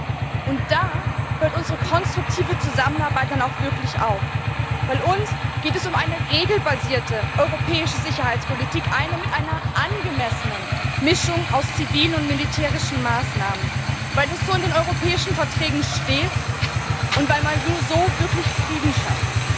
So, und da hört unsere konstruktive Zusammenarbeit dann auch wirklich auf, weil es uns um eine regelbasierte europäische Sicherheitspolitik geht, eine mit einer angemessenen Mischung aus zivilen und militärischen Maßnahmen, weil es so in den europäischen Verträgen steht und weil man nur so wirklich Frieden schafft.